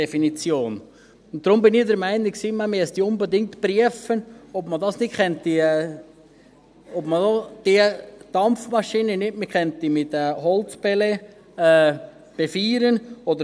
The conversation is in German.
Deshalb war ich der Meinung, man müsse unbedingt prüfen, ob man diese Dampfmaschinen nicht mit Holzpellets befeuern könnte.